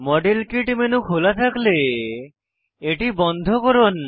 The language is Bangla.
মডেল কিট মেনু খোলা থাকলে এটি বন্ধ করুন